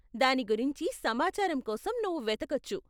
దాని గురించి సమాచారం కోసం నువ్వు వెతకొచ్చు.